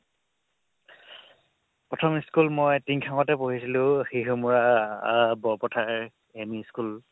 প্ৰথম school মই টিংখাঙতে পঢ়িছিলো শিহুমৰা আহ বৰপথাৰ ME school